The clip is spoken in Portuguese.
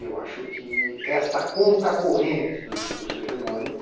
E eu acho que esta contracorrente do discurso hegemônico